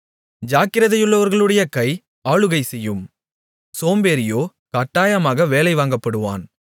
ஜாக்கிரதையுள்ளவர்களுடைய கை ஆளுகை செய்யும் சோம்பேறியோ கட்டாயமாக வேலை வாங்கப்படுவான்